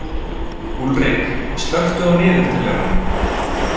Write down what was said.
Úlrik, slökku á niðurteljaranum.